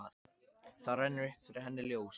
Þá rennur upp fyrir henni ljós.